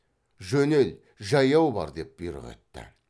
жөнел жаяу бар деп бұйрық етті